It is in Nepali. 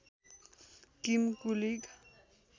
किम कुलिग